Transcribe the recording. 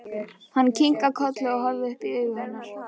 Hann kinkar kolli og horfir upp í augu hennar.